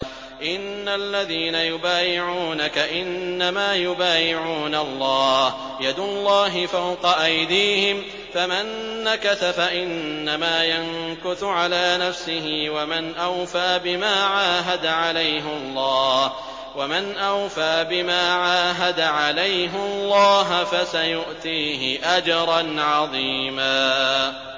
إِنَّ الَّذِينَ يُبَايِعُونَكَ إِنَّمَا يُبَايِعُونَ اللَّهَ يَدُ اللَّهِ فَوْقَ أَيْدِيهِمْ ۚ فَمَن نَّكَثَ فَإِنَّمَا يَنكُثُ عَلَىٰ نَفْسِهِ ۖ وَمَنْ أَوْفَىٰ بِمَا عَاهَدَ عَلَيْهُ اللَّهَ فَسَيُؤْتِيهِ أَجْرًا عَظِيمًا